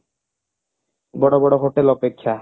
ବଡ ବଡ hotel ଅପେକ୍ଷା